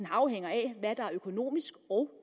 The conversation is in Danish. afhænger af hvad der er økonomisk og